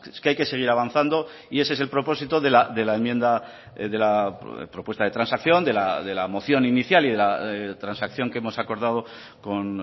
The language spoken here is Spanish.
que hay que seguir avanzando y ese es el propósito de la enmienda de la propuesta de transacción de la moción inicial y de la transacción que hemos acordado con